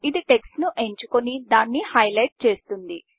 ఇది టెక్ట్స్ ను ఎంచుకొని దాన్ని హైలెట్ చేస్తుంది